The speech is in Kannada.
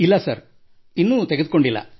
ಇಲ್ಲ ಸರ್ ಇನ್ನೂ ತೆಗೆದುಕೊಂಡಿಲ್ಲ